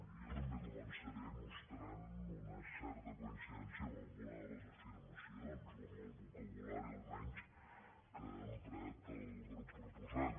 jo també començaré mostrant una certa coincidència amb alguna de les afir·macions o amb el vocabulari almenys que ha emprat el grup proposant